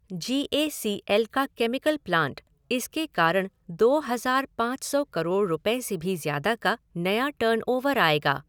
Ji A C L का chemical plant, इसके कारण दो हज़ार पाँच सौ करोड़ रुपये से भी ज्यादा का नया टर्नओवर आएगा।